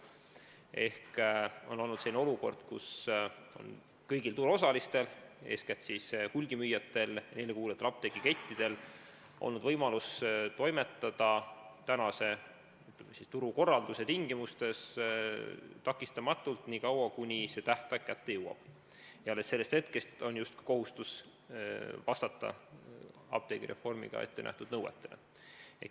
Ehk on olnud selline olukord, kus kõigil turuosalistel, eeskätt hulgimüüjatel ja neile kuuluvatel apteegikettidel on olnud võimalus toimetada tänase turukorralduse tingimustes takistamatult nii kaua, kuni see tähtaeg kätte jõuab, ja alles sellest hetkest on justkui kohustus vastata apteegireformiga ettenähtud nõuetele.